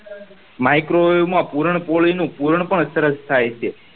microwave માં પુરણ પૂરી નો પુરણ પણ સરસ થાય છે